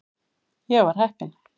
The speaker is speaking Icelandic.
Ég var heppinn.